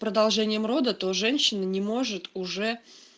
продолжением рода то женщины не может уже